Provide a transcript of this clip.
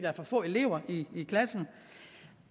er for få elever i klassen